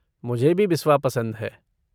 मुझे भी बिस्वा पसंद है।